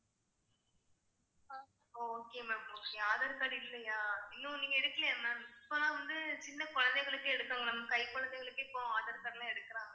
ஆஹ் okay ma'am aadhar card இல்லையா இன்னும் நீங்க எடுக்கலையா ma'am இப்பெல்லாம் வந்து சின்ன குழந்தைகளுக்கே எடுக்கணும் ma'am கை குழந்தைகளுக்கு இப்போ aadhar card லாம் எடுக்கறாங்க